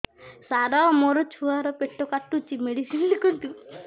ସାର ମୋର ଛୁଆ ର ପେଟ କାଟୁଚି ମେଡିସିନ ଲେଖନ୍ତୁ